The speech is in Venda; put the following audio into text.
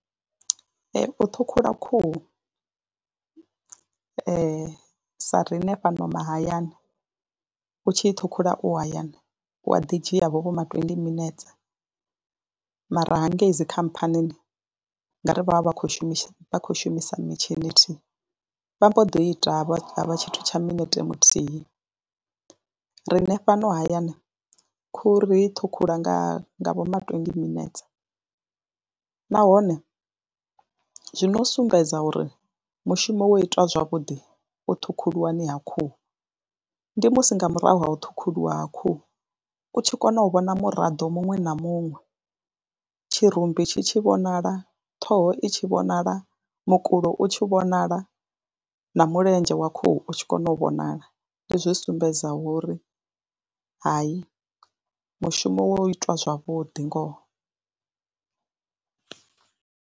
Ee, u ṱhukhula khuhu sa riṋe fhano mahayani u tshi ṱhukhula u hayani u a ḓi dzhiavho vho ma twendi minetse, mara hangei dzi khamphani ngori vha vha vha khou shumisa vha khou shumisa mitshini thi, vha mbo ḓi ita ha vha tshithu tsha minete muthihi. Riṋe fhano hayani khuhu ri ṱhukhula nga nga vho ma twendi minetse nahone zwi no sumbedza uri mushumo wo itwa zwavhuḓi u ṱhukhuliwani ha khuhu, ndi musi nga murahu ha u ṱhukhuliwa ha khuhu u tshi kona u vhona muraḓo muṅwe na muṅwe. Tshirumbi tshi tshi vhonala, ṱhoho i tshi vhonala, mukulo u tshi vhonala na mulenzhe wa khuhu u tshi kona u vhonala ndi zwi sumbedza wa uri hayi mushumo wa itwa zwavhuḓi ngoho.